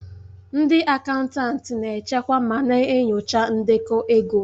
Ndị akaụntanti na-echekwa ma na-enyocha ndekọ ego.